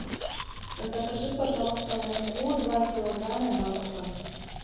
закажи пожалуйста муку два килограмма макфа